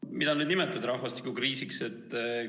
Mida nüüd nimetada rahvastikukriisiks?